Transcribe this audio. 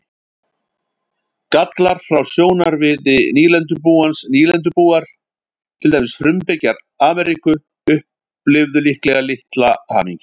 Gallar frá sjónarmiði nýlendubúans Nýlendubúar, til dæmis frumbyggjar Ameríku, upplifðu líklega litla hamingju.